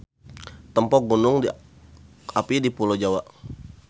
Tempo Gunung api di pulo Jawa.